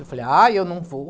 Eu falei, ah, eu não vou.